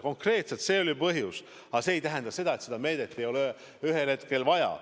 Konkreetselt see oli põhjus, aga see ei tähenda, et seda meedet ei ole ühel hetkel vaja.